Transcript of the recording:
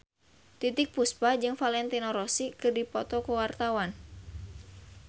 Titiek Puspa jeung Valentino Rossi keur dipoto ku wartawan